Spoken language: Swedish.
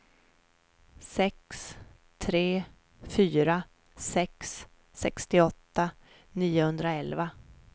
sex tre fyra sex sextioåtta niohundraelva